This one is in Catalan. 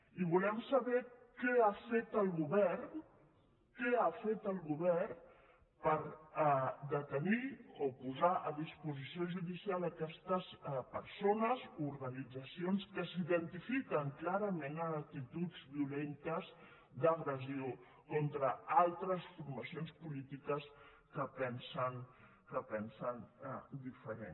i volem saber què ha fet el govern què ha fet el govern per detenir o posar a disposició judicial aquestes persones o organitzacions que s’identifiquen clarament en actituds violentes d’agressió contra altres formacions polítiques que pensen diferent